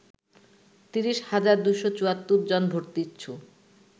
৩০ হাজার ২৭৪ জন ভর্তিচ্ছু